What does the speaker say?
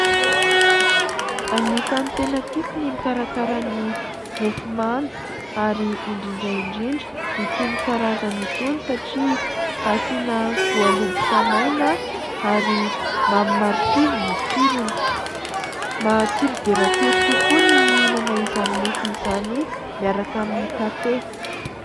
Anisany tena tiako ny mikarakara ny mofomamy ary indrindra indrindra itony karazany itony satria asiana voaloboka maina ary mamy marikivy ny tsirony. Matsiro dia matsiro tokoa ny mihinana izany mofo izany miaraka amin'ny kafe.